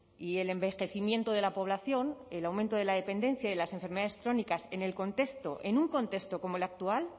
y el envejecimiento de la población el aumento de la dependencia y de las enfermedades crónicas en el contexto en un contexto como el actual